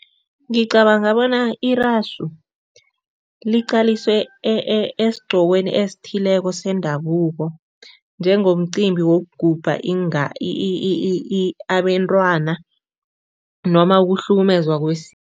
Ngicabanga bona irasu liqaliswe esigqokweni esithileko sendabuko njengomcimbi wokugubha abentwana noma ukuhlukumezwa